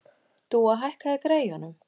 Dúa, hækkaðu í græjunum.